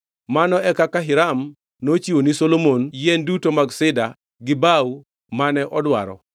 Mano e kaka Hiram nochiwo ni Solomon gi yien duto mag Sida gi bao mane odwaro,